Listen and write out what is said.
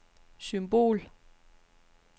symbol